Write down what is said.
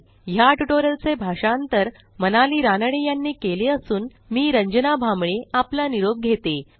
ह्या ट्युटोरियलचे भाषांतर मनाली रानडे यांनी केले असून मी रंजना भांबळे आपला निरोप घेते160